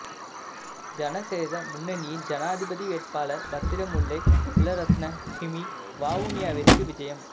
ஜனசெத முன்னனியின் ஜனாதிபதி வேட்பாளர் பத்திரமுல்லை சீலரத்ன ஹிமி வவுனியாவிற்கு விஜயம்